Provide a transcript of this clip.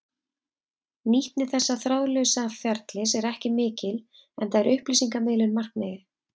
Nýtni þessa þráðlausa ferlis er ekki mikil enda er upplýsingamiðlun markmiðið.